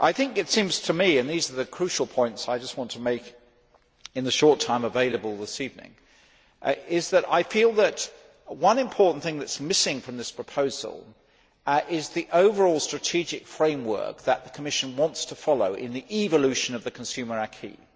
It seems to me and here are the crucial points I want to make in the short time available this evening that one important thing that is missing from this proposal is the overall strategic framework that the Commission wants to follow in the evolution of the consumer acquis.